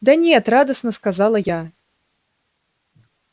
да нет радостно сказала я